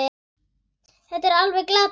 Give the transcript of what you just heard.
Þetta er alveg glatað svona!